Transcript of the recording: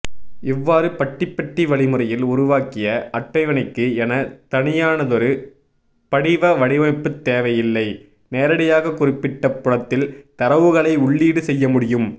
இவ்வாறு பட்டிபெட்டி வழிமுறையில் உருவாக்கிய அட்டவணைக்கு என தனியானதொரு படிவ வடிவமைப்புத்தேவையில்லை நேரடியாக குறிப்பிட்ட புலத்தில் தரவுகளை உள்ளீடு செய்யமுடியும்